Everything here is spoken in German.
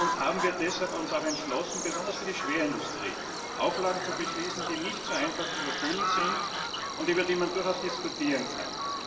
Wir haben uns deshalb entschlossen, besonders auch für die Schwerindustrie Auflagen zu beschließen, die nicht so einfach zu erfüllen sind und über die man durchaus diskutieren kann.